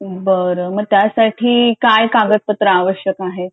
बरं मग त्यासाठी काय कागदपत्र आवश्यक आहेत